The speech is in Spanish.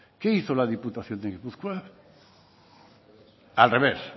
qué hizo la diputación foral de gipuzkoa al revés